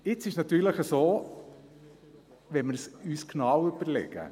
Jetzt ist es natürlich so, wenn wir es uns genau überlegen: